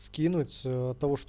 скинуть